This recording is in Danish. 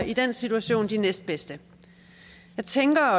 i den situation de næstbedste jeg tænker